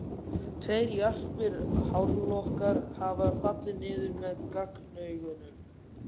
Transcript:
Tveir jarpir hárlokkar hafa fallið niður með gagnaugunum.